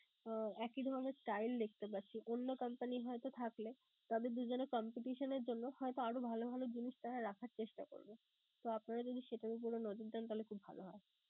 আহ একই ধরণের style দেখতে পারছি. অন্য company হয়তো থাকলে তাদের দুইজনের competition এর জন্য হয়তো আরো ভালো ভালো জিনিস তাঁরা রাখার চেষ্টা করবে. তো আপনারা যদি সেটার উপরে নজর দেন তাহলে খুব ভালো হয়.